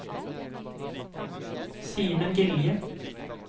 Simen Gilje